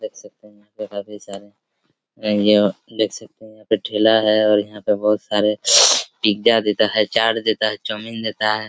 देख सकते हैं यहाँ पे काफी सारे महंगे और देख सकते हैं यहाँ पे ठेला हैं और यहाँ पर बहोत सारे पिज्जा देता हैं चाट देता हैं चोमीन देता हैं।